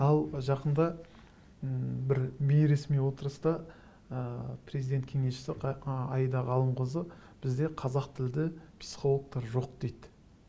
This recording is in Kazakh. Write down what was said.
ал жақында м бір бейресми отырыста ы президент кеңесшісі аида ғалымқызы бізде қазақ тілді психологтар жоқ дейді